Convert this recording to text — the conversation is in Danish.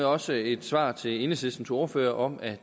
også et svar til enhedslistens ordfører om at